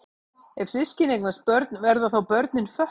Ef systkini eignast börn verða þá börnin fötluð?